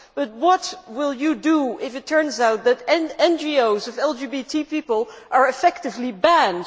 But what will you do if it turns out that NGOs of LGBT people are effectively banned?